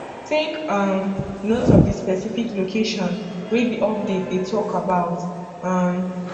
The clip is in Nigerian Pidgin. take um note of di specific location wey di update dey talk about um